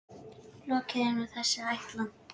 Lokið er nú þessi ætlan.